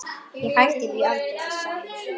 Ég hætti því aldrei, sagði hún.